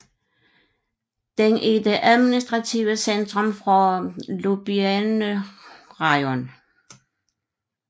Den er det administrative centrum for Hlobyne rajon